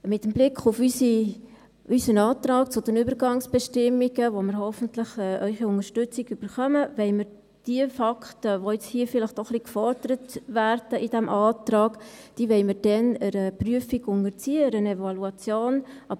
Mit Blick auf unseren Antrag zu den Übergangsbestimmungen, zu dem wir hoffentlich Ihre Unterstützung erhalten, wollen wir die Fakten, die in diesem Antrag jetzt vielleicht auch ein wenig gefordert werden, dann einer Prüfung, einer Evaluation unterziehen.